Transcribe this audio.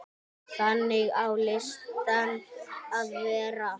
Þannig á listin að vera.